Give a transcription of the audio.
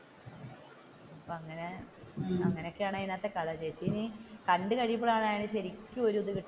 അങ്ങനെയൊക്കെയാണ് അതിന്റെ അകത്തെ കഥ ചേച്ചി ഇനി കണ്ടുകഴിയുമ്പോഴാണ് ശരിക്കും, ഒരു ഇത് കിട്ടുന്നെ